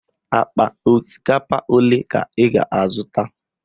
Akpa osikapa ole ka ị ga-azụta?